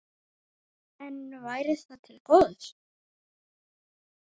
En væri það til góðs?